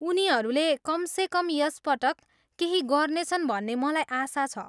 उनीहरूले कमसेकम यस पटक केही गर्नेछन् भन्ने मलाई आशा छ।